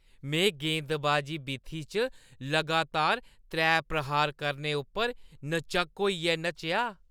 में गेंदबाजी बीथी च लगातार त्रै प्रहार करने उप्पर न-झक्क होइयै नच्चेआ।